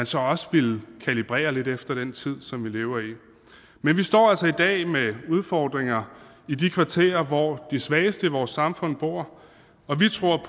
så også ville kalibrere lidt efter den tid som vi lever i men vi står altså i dag med udfordringer i de kvarterer hvor de svageste i vores samfund bor og vi tror